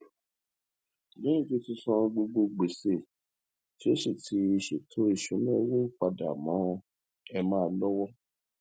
lẹhìn tí ó ti san gbogbo gbèsè tí ó sì ti ṣètò ìsúná owó pàdà mọ emma lọwọ